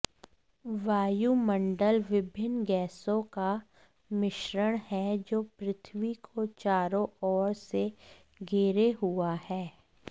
वायुमण्डल विभिन्न गैसों का मिश्रण है जो पृथ्वी को चारो ओर से घेरे हुए है